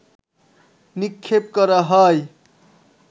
নিক্ষেপ করা হয়